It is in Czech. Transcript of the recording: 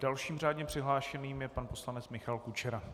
Dalším řádně přihlášeným je pan poslanec Michal Kučera.